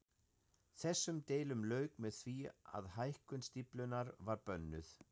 Þessum deilum lauk með því að hækkun stíflunnar var bönnuð.